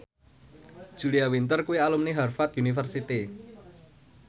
Julia Winter kuwi alumni Harvard university